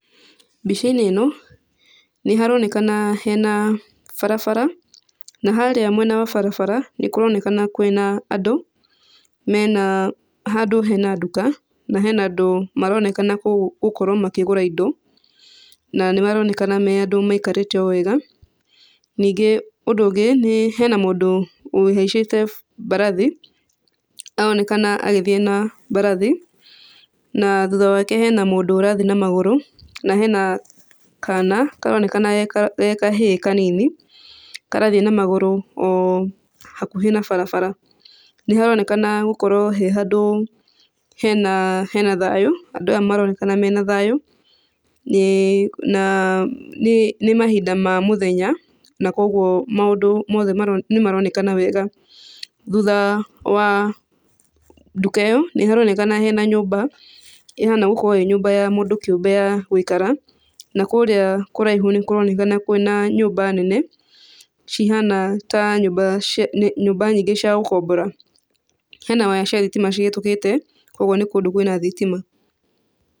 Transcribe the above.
Mbica-inĩ ĩno nĩharonekana hena barabara, na harĩa mwena wa barabara nĩkũroneakna kwĩna andũ mena handũ hena nduka na hena andũ maronekana gũkorwo makĩgũra indo na nĩmaronekana me andũ o maikarĩte o wega. Ningĩ ũndũ ũngĩ nĩ hena mũndũ ũhaicĩte mbarathi, aronekana agĩthiĩ na mbarathi na thutha wake hena mũndũ ũrathiĩ na magũrũ na hena kana karonekana eg kahĩĩ kanini karathiĩ na magũrũ o hakuhĩ na barabara. Nĩharonekana gũkorwo he handũ hena hena thayũ, andũ aya maronekana mena thayũ na nĩ mahinda ma mũthenya na kuoguo maũndũ mothe nĩmaronekana wega. Thutha wa nduka ĩyo nĩharonekana hena nyũmba ĩhana gũkorwo ĩ nyũmba ya mũndũ kĩũmbe ya gũikara. Na kũrĩa kũraihu nĩkũronekana kwĩna nyũmba nene cihana ta nyũmba nyingĩ cia gũkombora. Hena waya cia thitima cihĩtũkĩte kuoguo nĩ kĩndũ kwĩna thitima.